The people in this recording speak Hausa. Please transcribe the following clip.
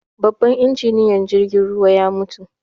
Babban injiniyan jirgin ruwan ya mutu